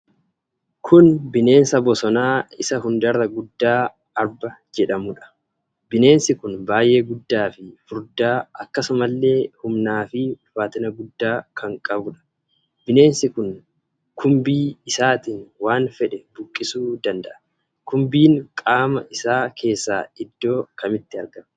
Kun bineensa bosonaa isa hundarra guddaa Arba jedhamuudha. Bineensi kun baay'ee guddaa fi furdaa, akkasumallee humnaa fi ulfaatina guddaa kan qabuudha. bineensi kun kumbii isaatiin waan fedhe buqqisuu danda'a. Kumbiin qaama isaa keessaa iddoo kamitti argama?